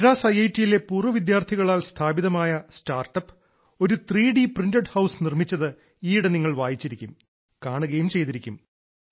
മദ്രാസ് ഐ ഐ ടിയിലെ പൂർവ്വവിദ്യാർത്ഥികളാൽ സ്ഥാപിതമായ സ്റ്റാർട്ടപ് ഒരു ത്രി ഡി പ്രിന്റഡ് ഹൌസ് നിർമ്മിച്ചത് ഈയിടെ നിങ്ങൾ വായിച്ചിരിക്കും കാണുകയും ചെയ്തിരിക്കും